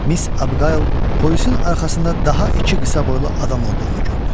Miss Abqayl polisin arxasında daha iki qısa boylu adam olduğunu gördü.